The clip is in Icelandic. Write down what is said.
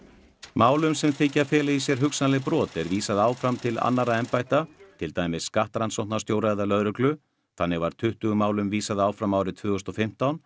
málum sem þykja fela í sér hugsanleg brot er vísað áfram til annarra embætta til dæmis skattrannsóknarstjóra eða lögreglu þannig var tuttugu málum vísað áfram árið tvö þúsund og fimmtán